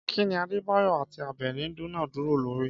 Kí ni Adébáyọ̀ àti Àbẹ̀ní dúnàádúrà lórí?